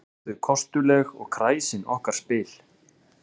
Oft eru þau kostuleg og kræsin okkar spil